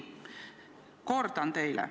Ma kordan teile.